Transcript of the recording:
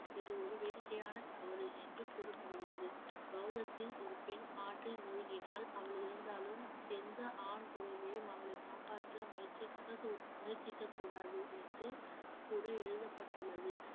இது ஒரு வேடிக்கையான தவறு என்று கூறப்படுகிறது பௌத்தத்தில் ஒரு பெண் ஆற்றில் மூழ்கினால் அவள் இறந்தாலும் எந்த ஆண் துறவியும் அவளை காப்பாற்ற முயற்சிக்கக்கூ~ முயற்சிக்கக் கூடாது என்று கூட எழுதப்பட்டுள்ளது